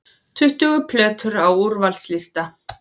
Tuttugu plötur á úrvalslista